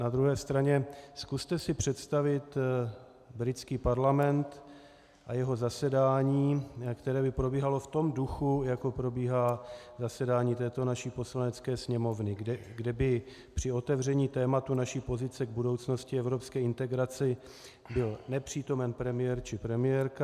Na druhé straně, zkuste si přestavit britský parlament a jeho zasedání, které by probíhalo v tom duchu, jako probíhá zasedání této naší Poslanecké sněmovny, kde by při otevření tématu naší pozice k budoucnosti evropské integrace byl nepřítomen premiér či premiérka.